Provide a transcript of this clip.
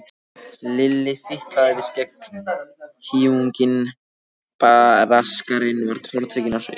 Lilli fitlaði við skegghýjunginn, Braskarinn var tortrygginn á svip.